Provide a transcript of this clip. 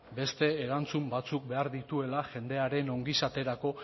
beste erantzun batzuk behar dituela jendearen ongizaterako